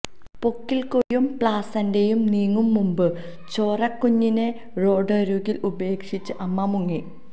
പൊക്കിൾക്കൊടിയും പ്ലാസന്റയും നീങ്ങും മുമ്പ് ചോരക്കുഞ്ഞിനെ റോഡരുകിൽ ഉപേക്ഷിച്ച് അമ്മ മുങ്ങി